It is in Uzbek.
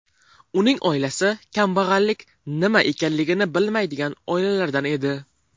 Uning oilasi kambag‘allik nima ekanligini bilmaydigan oilalardan edi.